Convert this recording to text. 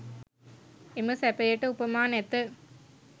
එම සැපයට උපමා නැත